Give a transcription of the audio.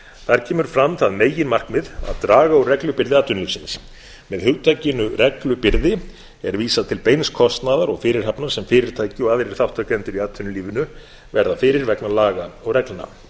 þar kemur fram það meginmarkmið að draga úr reglubyrði atvinnulífsins með hugtakinu reglubyrði er vísað til beins kostnaðar og fyrirhafnar sem fyrirtæki og aðrir þátttakendur í atvinnulífinu verða fyrir vegna laga og reglna